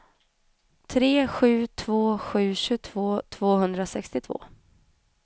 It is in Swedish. tre sju två sju tjugotvå tvåhundrasextiotvå